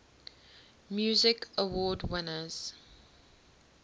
music awards winners